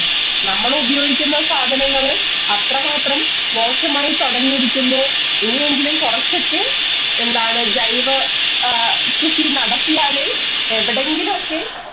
നമ്മള് ഉപയോഗിക്കുന്ന സാധനങ്ങള് അത്രമാത്രം മോശമായി തുടങ്ങിയിരിക്കുന്നു. ഇനിയെങ്കിലും കുറച്ചൊക്കെ എന്താണ് ജൈവ കൃഷി നടത്തിയാലെ എവിടെങ്കിലും ഒക്കെ